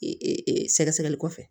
Sɛgɛsɛgɛli kɔfɛ